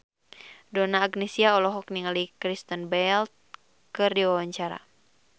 Donna Agnesia olohok ningali Kristen Bell keur diwawancara